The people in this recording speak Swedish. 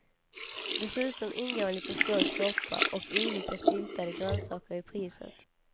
Dessutom ingår en liten skål soppa och olika syltade grönsaker i priset.